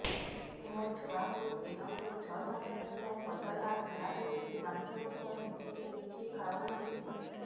ମୋ ଛୁଆକୁ ଦିନକୁ ଛ ସାତ ଥର ପତଳା ଝାଡ଼ା ହେଉଛି ବାନ୍ତି ମଧ୍ୟ ହେଉଛି କିଛି ଖାଉ ନାହିଁ